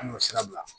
An y'o sira bila